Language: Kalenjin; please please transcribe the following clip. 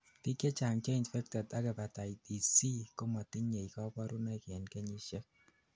biik chechang cheinfected ak hepatitis C kometinyei kaborunoik end kenyisiek